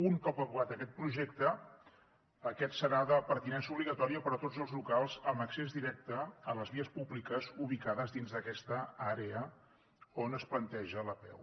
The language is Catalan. un cop aprovat aquest projecte aquest serà de pertinença obligatòria per a tots els locals amb accés directe a les vies públiques ubicades dins d’aquesta àrea on es planteja l’apeu